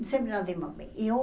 Sempre nos demos bem. E eu